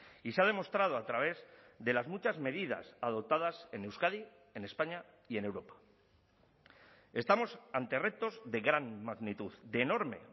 y se ha demostrado a través de las muchas medidas adoptadas en euskadi en españa y en europa estamos ante retos de gran magnitud de enorme